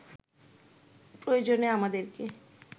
প্রয়োজনে আমাদেরকে